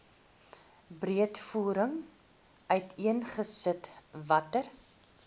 breedvoerig uiteengesit watter